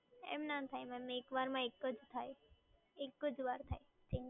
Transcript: એમ ના થાય મેમ, એક વારમાં એક જ થાય, એક જ વાર થાય